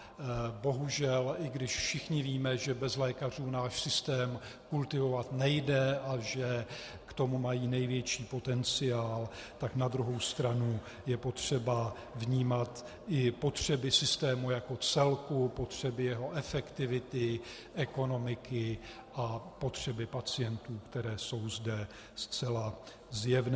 Bohužel, i když všichni víme, že bez lékařů náš systém kultivovat nejde a že k tomu mají největší potenciál, tak na druhou stranu je potřeba vnímat i potřeby systému jako celku, potřeby jeho efektivity, ekonomiky a potřeby pacientů, které jsou zde zcela zjevné.